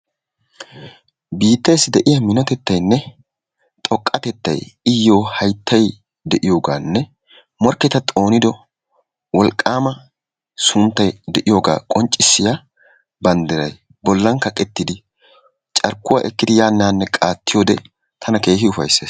Biitteessi de'iya minotettaynne xoqqatettay iyyo hayttay de'iyoogaanne morkketa xoonido wolqqaama sunttay de'iyooga qonccissiya banddiray bollan kaqettidi carkkuwaa ekkidi yaanne haanne qaattiyoode tana keehi ufayssees.